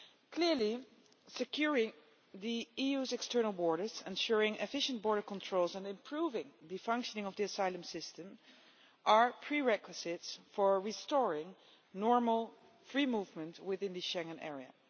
Clearly, securing the EU's external borders, ensuring efficient border controls and improving the functioning of the asylum system are prerequisites for restoring normal free movement within the Schengen Area.